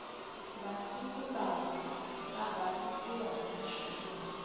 masiku lawa ka basisiwa hi michini